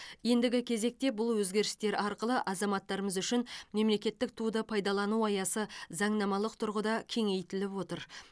ендігі кезекте бұл өзгерістер арқылы азаматтарымыз үшін мемлекеттік туды пайдалану аясы заңнамалық тұрғыда кеңейтіліп отыр